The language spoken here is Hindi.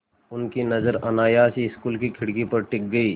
उनकी नज़र अनायास ही स्कूल की खिड़की पर टिक गई